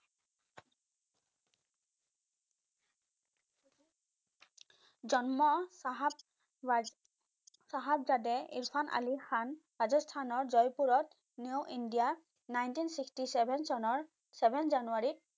জন্ম চাহাব চাহাবজাদে ইৰফান আলি খান ৰাজস্থানৰ জয়পুৰত new india ninteen sixty seven চনৰ seven জানুৱাৰীত